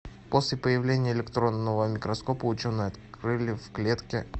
после появления электронного микроскопа ученые открыли в клетке